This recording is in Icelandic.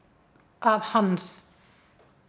að hans